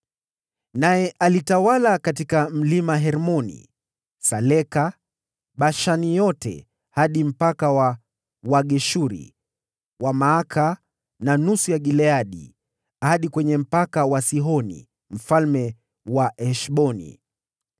Naye alitawala katika Mlima Hermoni, Saleka, Bashani yote hadi mpaka wa watu wa Geshuri, na watu wa Maaka na nusu ya Gileadi, hadi kwenye mpaka wa Sihoni mfalme wa Heshboni.